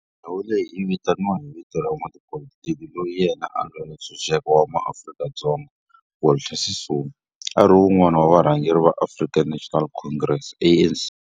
Ndhawo leyi yi vitaniwa hi vito ra n'watipolitiki loyi na yena a lwela ntshuxeko wa maAfrika-Dzonga Walter Sisulu, a ri wun'wana wa varhangeri va African National Congress, ANC.